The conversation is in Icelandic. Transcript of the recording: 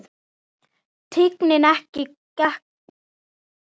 Tignin gekk ekki í arf.